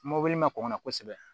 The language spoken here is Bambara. Mobili ma kɔn ka na kosɛbɛ